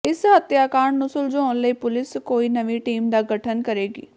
ਇਸ ਹੱਤਿਆਕਾਂਡ ਨੂੰ ਸੁਲਝਾਉਣ ਲਈ ਪੁਲਿਸ ਕੋਈ ਨਵੀਂ ਟੀਮ ਦਾ ਗਠਨ ਕਰੇਗੀ